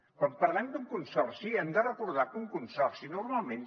quan parlem d’un consorci hem de recordar que un consorci normalment